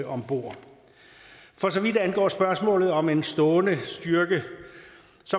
ombord for så vidt angår spørgsmålet om en stående styrke